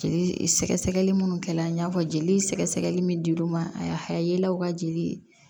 Jeli sɛgɛ sɛgɛli minnu kɛ la n y'a fɔ jeli sɛgɛsɛgɛli min dir'u ma a ha yel'aw ka jeli